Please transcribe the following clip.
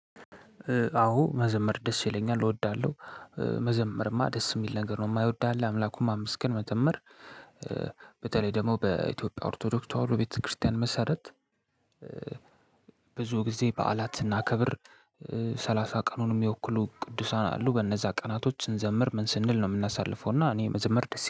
አወ መዘመር ደስ ይለኛል እወዳለሁ። መዘመርማ ደስ የሚል ነገር ነው የማይወዳል አምላኩን ማመስገን መዘመር በተለይ ደግሞ በኢትዮጵያ ኦርቶዶክስ ተዋህዶ ቤተክርስቲያን መሰረት። ብዙ ጊዜ በዓላት ስናከብር። ሰላሳ ቀኑን የሚወክሉ ቅዱሳን አሉ በነዛ ቀናቶች ስንዘምር ምን ስንል ነው የምናሳልፈው? እና እኔ የመዘመር ደስ